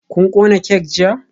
Kun kona kek jiya?